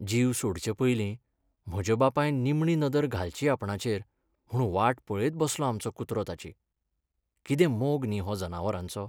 जीव सोडचे पयलीं म्हज्या बापायन निमणी नदर घालची आपणाचेर म्हूण वाट पळयत बसलो आमचो कुत्रो ताची. कितें मोग न्ही हो जनावरांचो?